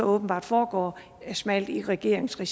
åbenbart foregår smalt i regeringsregi